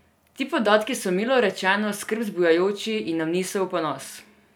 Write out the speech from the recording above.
Ti podatki so, milo rečeno, skrb zbujajoči in nam niso v ponos.